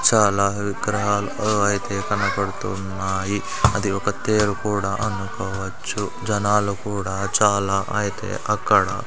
చాలా విగ్రహాలు ఐతే కనపడుతూ ఉన్నాయి అది ఒక తేరు కూడా అనుకోవచ్చు జనాలు కూడా చాలా ఐతే అక్కడ --